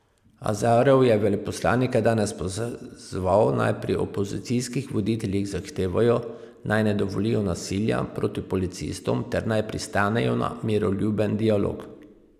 Azarov je veleposlanike danes pozval, naj pri opozicijskih voditeljih zahtevajo, naj ne dovolijo nasilja proti policistom ter naj pristanejo na miroljuben dialog.